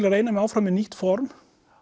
að reyna mig áfram með nýtt form